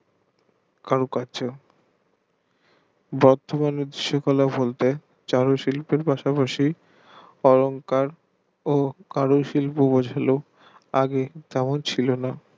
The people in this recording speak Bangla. কারুকার্য বর্তমান চারু শিল্পের পাসপাশি অহংকার আগে তেমন ছিল না